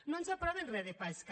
no ens aproven re de pesca